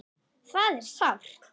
Það er sárt.